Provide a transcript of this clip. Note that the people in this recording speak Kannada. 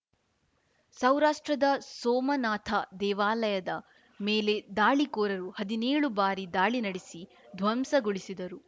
ಸೌರಾಷ್ಟ್ರದ ಸೋಮನಾಥ ದೇವಾಲಯದ ಮೇಲೆ ದಾಳಿಕೋರರು ಹದ್ನೇಳು ಬಾರಿ ದಾಳಿ ನಡೆಸಿ ಧ್ವಂಸಗೊಳಿಸಿದರು